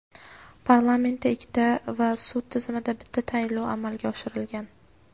Parlamentda ikkita va sud tizimida bitta tayinlov amalga oshirilgan.